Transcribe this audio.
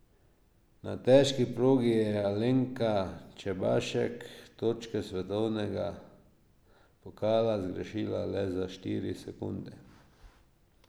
Na težki progi je Alenka Čebašek točke svetovnega pokala zgrešila le za štiri sekunde.